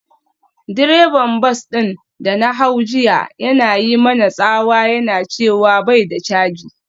Direban bas din da na hau jiya yana yi mana tsawa yana cewa bai da canji.